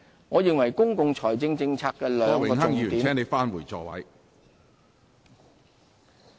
我認為公共財政政策的兩個重點......